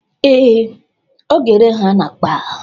Ee, ọ ga-ere ha n'akpa